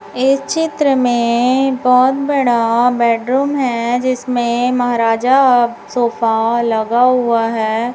इस चित्र में बहोत बड़ा बेडरूम है जिसमें महाराजा सोफा लगा हुआ है।